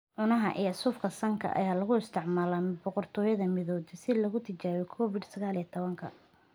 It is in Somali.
Cunaha iyo suufka sanka ayaa lagu isticmaalaa Boqortooyada Midowday si loogu tijaabiyo Covid-19.